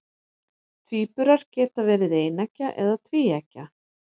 Tvíburar geta verið eineggja eða tvíeggja.